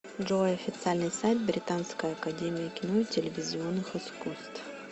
джой официальный сайт британская академия кино и телевизионных искусств